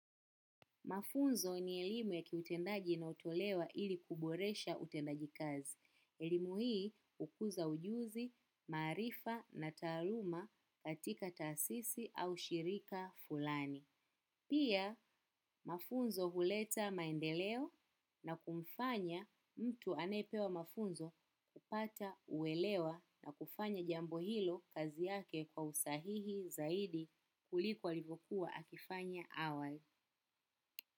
Mafunzo ni elimu ya kiutendaji na inayotolewa ili kuboresha utendaji kazi. Elimu hii ukuza ujuzi, maarifa na taaluma katika taasisi au shirika fulani. Pia, mafunzo huleta maendeleo na kumfanya mtu anayepewa mafunzo upata uelewa na kufanya jambo hilo kazi yake kwa usahihi zaidi kuliko alivyokuwa akifanya awali.